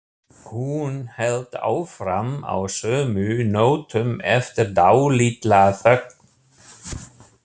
Hún hélt áfram á sömu nótum eftir dálitla þögn.